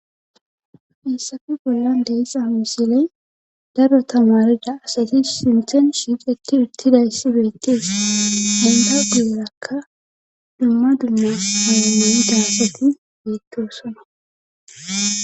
Hayssappe bollan de'iza misilen daro tamariza asati sinthen shiiqeti uttidayssi beetees. eta guyerakka dumma dumma paydon dida asati beetosona.